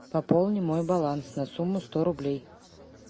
пополни мой баланс на сумму сто рублей